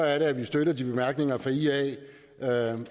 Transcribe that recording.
at vi støtter de bemærkninger fra ia